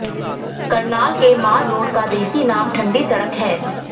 करनाल के mall road का देसी नाम ठंडी सड़क है